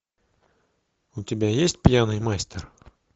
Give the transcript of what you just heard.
у тебя есть пьяный мастер